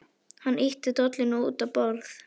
Hann ýtti dollunum út á borðið.